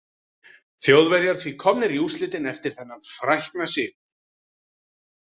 Þjóðverjar því komnir í úrslitin eftir þennan frækna sigur.